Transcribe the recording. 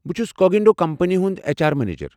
بہٕ چُھس Cognito company ہُنٛد ایچ آر مینیجر۔